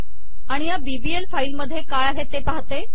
आणि या bblफाईल मध्ये काय आहे ते पाहते